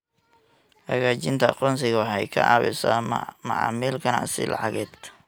Xaqiijinta aqoonsiga waxay ka caawisaa macaamil ganacsi lacageed.